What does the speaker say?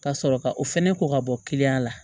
Ka sɔrɔ ka o fɛnɛ ko ka bɔ la